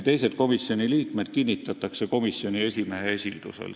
Teised komisjoni liikmed kinnitatakse komisjoni esimehe esildusel.